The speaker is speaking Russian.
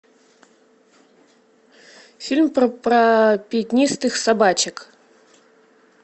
фильм про пятнистых собачек